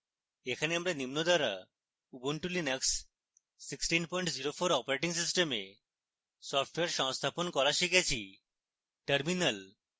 এখানে আমরা নিম্ন দ্বারা ubuntu linux 1604 operating system software সংস্থাপন করা শিখেছি: terminal